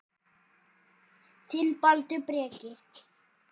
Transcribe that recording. Þinn, Baldur Breki.